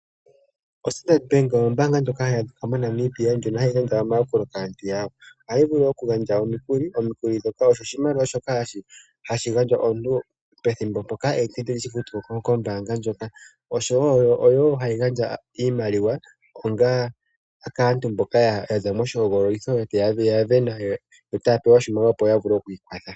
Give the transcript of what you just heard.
Standard Bank ombanga ndjoka ohayi longithwa moNamibia, ndjoka hayi gandja omayakulo kaantu yawo. Ohayi vulu oku gandja omikuli, omikuli odho oshimaliwa shoka hashi gandjwa komuntu okuza kombanga ndjoka, osho wo ohayi gandja oshimaliwa kaantu mboka yaza loshi hogololitho, ya vena etaya pewa oshimaliwa opo ya vule okwiikwatha.